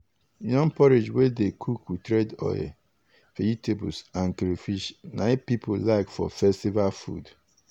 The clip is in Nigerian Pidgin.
yam porridge wey dey cook with red oil vegetables and crayfish na people like for festival food.